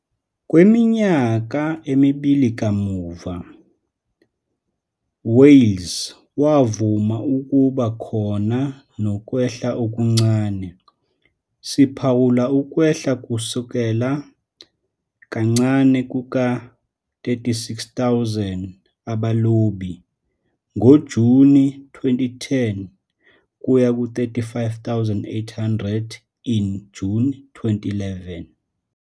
kweminyaka emibili kamuva, Wales wavuma ukuba khona nokwehla okuncane, siphawula ukwehla kusukela "kancane kuka 36,000 abalobi" ngoJuni 2010 kuya 35,800 in June 2011